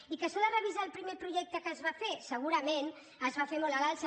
i que s’ha de revisar el primer projecte que es va fer segurament es va fer molt a l’alça